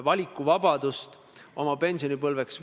Vastab majandus- ja taristuminister Taavi Aas.